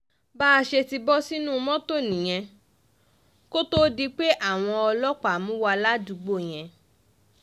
bá a ṣe tì í bọ́ sílẹ̀ nínú mọ́tò nìyẹn kó tóó di pé àwọn ọlọ́pàá mú wa ládùúgbò yẹn